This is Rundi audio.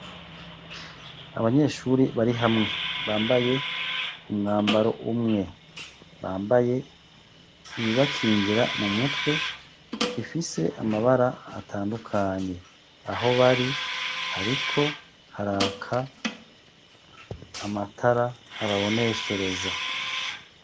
Abanyeshuri bari hamwe bambaye umwambaro umwe bambaye ibibakingira mu mutwe bafise amabara atandukanye aho bari hariko haraka amatara ababoneshereza.